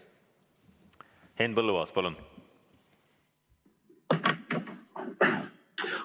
Henn Põlluaas, palun!